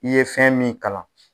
I ye fɛn min kalan.